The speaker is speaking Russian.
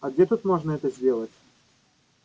а где тут можно это сделать